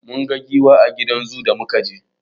Mun ga giwa a gidan zoo da muka je.